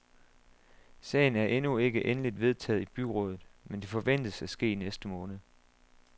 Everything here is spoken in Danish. Sagen er endnu ikke endeligt vedtaget i byrådet, men det forventes at ske i næste måned.